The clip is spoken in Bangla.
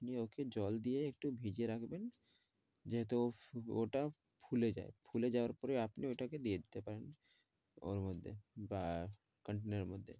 জী ওকে জল দিয়ে একটু ভিজিয়ে রাখবেন। যেহেতু ওটা ফুলে যায়, ফুলে যাওয়ার পরে আপনি ঐটাকে দিয়ে দিতে পারেন ওর মধ্যে বা continar মধ্যে।